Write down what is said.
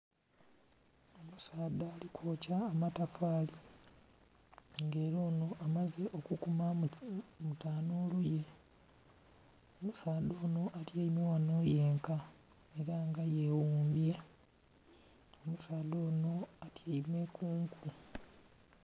Omusadha ali kwokya amatafari nga era ono amaze okukumamu mu tanulu ye. Omusadha ono atyaime ghano yenka era nga yewumbye, omusadha ono atyaime kunku.